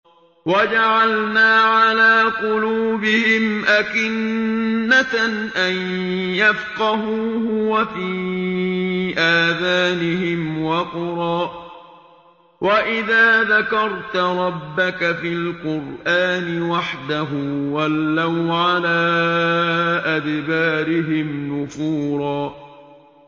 وَجَعَلْنَا عَلَىٰ قُلُوبِهِمْ أَكِنَّةً أَن يَفْقَهُوهُ وَفِي آذَانِهِمْ وَقْرًا ۚ وَإِذَا ذَكَرْتَ رَبَّكَ فِي الْقُرْآنِ وَحْدَهُ وَلَّوْا عَلَىٰ أَدْبَارِهِمْ نُفُورًا